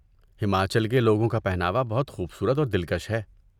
ہماچل کے لوگوں کا پہناوا بہت خوبصورت اور دلکش ہے۔